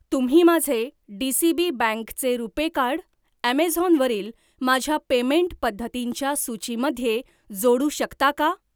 तुम्ही माझे डीसीबी बँकचे रुपे कार्ड, ऍमेझॉन वरील माझ्या पेमेंट पद्धतींच्या सूचीमध्ये जोडू शकता का?